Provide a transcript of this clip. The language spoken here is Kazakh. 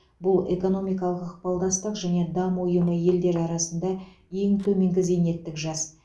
бұл экономикалық ықпалдастық және даму ұйымы елдері арасында ең төменгі зейнеттік жас